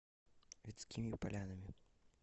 вятскими полянами